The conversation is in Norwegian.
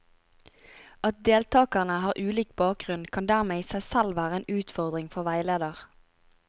At deltakerne har ulik bakgrunn, kan dermed i seg selv være en utfordring for veileder.